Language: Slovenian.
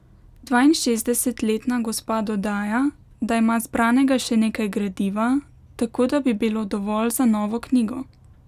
Dvainšestdesetletna gospa dodaja, da ima zbranega še nekaj gradiva, tako da bi bilo dovolj za novo knjigo.